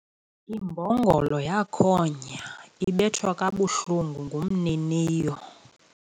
Imbongolo yakhonya ibethwa kabuhlungu ngumniniyo